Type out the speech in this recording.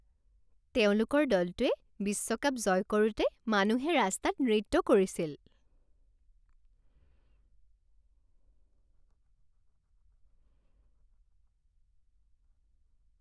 তেওঁলোকৰ দলটোৱে বিশ্বকাপ জয় কৰোঁতে মানুহে ৰাস্তাত নৃত্য কৰিছিল।